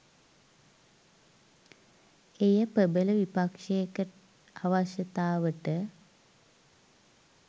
එය ප්‍රබල විපක්ෂයක අවශ්‍යතාවට